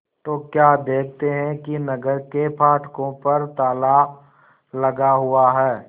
तो क्या देखते हैं कि नगर के फाटकों पर ताला लगा हुआ है